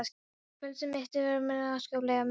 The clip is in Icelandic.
Frelsi mitt er mér afskaplega mikils virði.